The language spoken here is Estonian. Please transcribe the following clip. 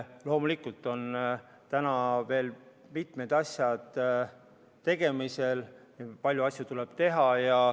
Loomulikult on veel mitmed asjad tegemisel, palju asju tuleb teha.